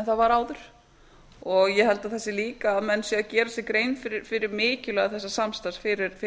en það var áður og ég held að það sé líka að menn séu að gera sér grein fyrir mikilvægi þessa samstarfs fyrir